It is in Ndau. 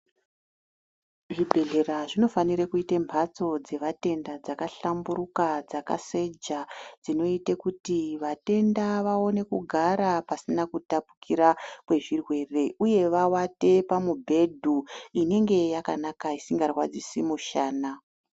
Zvibhedhlera zvinofanike kuite mphatso dzevatenda dzakahlamburika, dzakaseja dzinoite kuti vatenda vaone kugara pasina kutapukira kwezvirwere uye vawate pamubhedhu inenge yakanaka isingarwadzisi mushana.